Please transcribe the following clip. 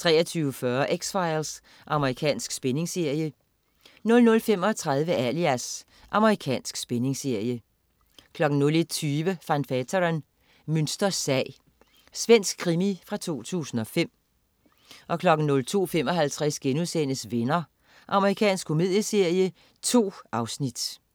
23.40 X-Files. Amerikansk spændingsserie 00.35 Alias. Amerikansk spændingsserie 01.20 Van Veeteren: Münsters sag. Svensk krimi fra 2005 02.55 Venner.* Amerikansk komedieserie. 2 afsnit